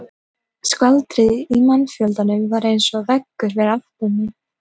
Skvaldrið í mannfjöldanum var eins og veggur fyrir aftan mig.